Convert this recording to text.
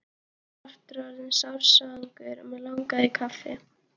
Ég var aftur orðinn sársvangur og mig langaði í kaffi.